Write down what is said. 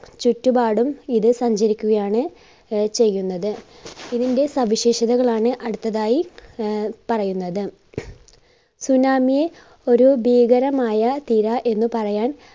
ചുറ്റുപാടും ഇത് സഞ്ചരിക്കുകയാണ് ആഹ് ചെയ്യുന്നത്. ഇതിന്റെ സവിശേഷതകളാണ് അടുത്തതായി ആഹ് പറയുന്നത്. tsunami യെ ഒരു ഭീകരമായ തിര എന്ന് പറയാൻ